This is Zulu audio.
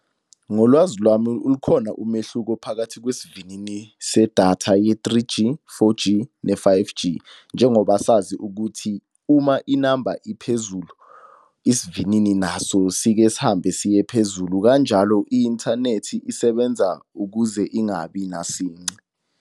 Ngolwazi lwami ukhona umehluko phakathi kwesivinini sedatha ye-Three G, Four G, ne-Five G. Njengoba sazi ukuthi uma inamba iphezulu, isivinini naso sike sihambe siye phezulu kanjalo i-inthanethi isebenza ukuze ingabi nasince.